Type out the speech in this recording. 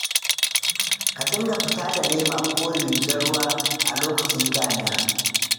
Ka dinga fita da lema ko rigar ruwa a lokacin damina.